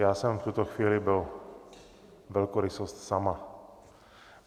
Já jsem v tuto chvíli byl velkorysost sama.